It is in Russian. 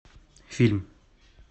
фильм